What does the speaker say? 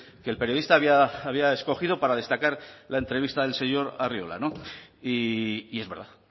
que el periodista había escogido para destacar la entrevista del señor arriola y es verdad